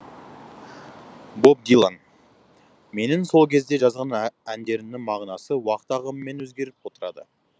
боб дилан менің сол кезде жазған әндерімнің мағынасы уақыт ағымымен өзгеріп отырады